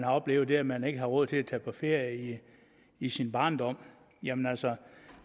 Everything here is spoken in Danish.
oplevet at man ikke havde råd til at tage på ferie i sin barndom jamen altså